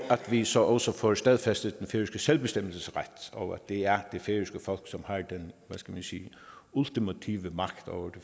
vi så også får stadfæstet den færøske selvbestemmelsesret og at det er det færøske folk som har den ultimative magt over